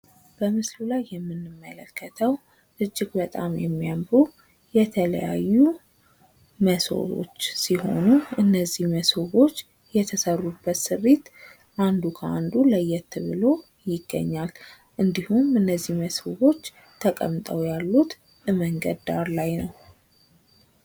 በምስሉ ላይ የምንመለከተው እጅግ በጣም የሚያምሩ የተለያዩ ሞሰቦች ሲሆኑ እና እነዚህ ሞሰቦች የተሰሩበት ስሪት አንዱ ከአንዱ ለየት ብሎ ይገኛል። እንዲሁም እነዚህ ሞሰቦች ተቀምጠው ያሉት መንገድ ዳር ላይ ነው ።